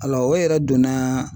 o yɛrɛ donna